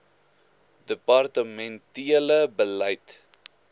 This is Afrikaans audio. departemen tele beleid